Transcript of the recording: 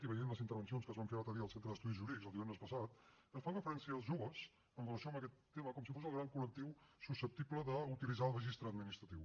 i veient les intervencions que es van fer l’altre dia al centre d’estudis jurídics divendres passat es fa referència als joves en relació amb aquest tema com si fos el gran col·lectiu susceptible d’utilitzar el registre administratiu